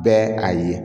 Bɛɛ a ye